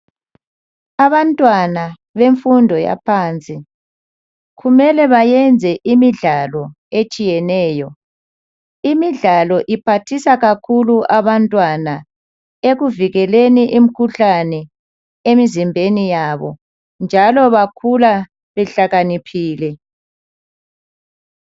Abantwana bemfundo yaphansi kumele bayenze imidlalo etshiyeneyo. Imidlalo iphathisa kakhulu abantwana ekuvikeleni imkhuhlane emizimbeni yabo njalo bakhula behlakaniphile